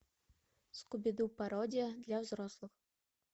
скуби ду пародия для взрослых